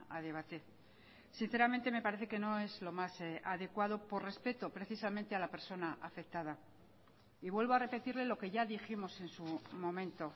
a debate sinceramente me parece que no es lo más adecuado por respeto precisamente a la persona afectada y vuelvo a repetirle lo que ya dijimos en su momento